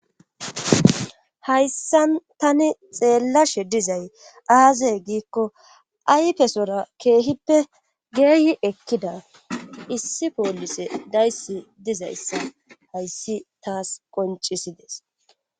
Hayssan tani xeellashe dizay aazey giikko aypesora keehippe geeyi ekkida issi poolise dayssi dizayssa hayssi taas qoncisides.